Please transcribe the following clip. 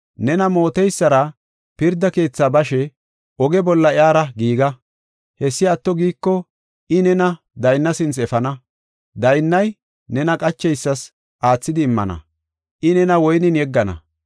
“Nena mooteysara pirda keethi bashe oge bolla iyara giiga. Hessi atto giiko I nena daynna sinthe efana. Daynnay nena qacheysas aathidi immana; I nena woynen yeggana.